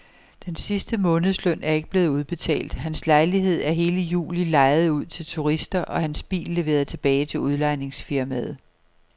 Den sidste månedsløn er ikke blevet udbetalt, hans lejlighed er i hele juli lejet ud til turister og hans bil leveret tilbage til udlejningsfirmaet.